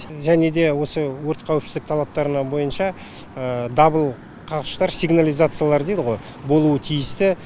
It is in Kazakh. және де осы өрт қауіпсіздік талаптарына бойынша дабыл қағыштар сигнализациялар дейді ғой болуы тиісті